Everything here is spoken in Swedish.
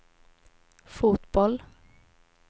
fotboll